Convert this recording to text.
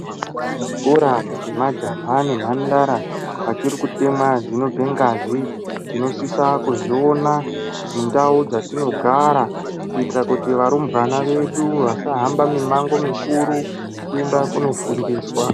Zvikora zvemajaha nemhandara vachiri kutemwa dzinobve ngazi, tinosisa kuzviona mundau dzatinogara kuitira kuti varumbwana vedu vasahamba mimango mukuru kuinda kunofundiswa.